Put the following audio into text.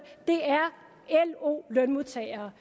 er lo lønmodtagere